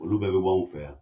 Olu bɛɛ bɛ bɔ u fɛ yan.